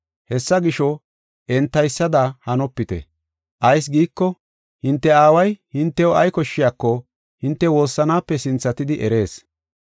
Hessa gisho, entaysada hanopite. Ayis giiko, hinte aaway hintew ay koshshiyako hinte woossanaape sinthatidi erees.